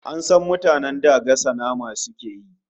An san mutanen da gasa nama suke yi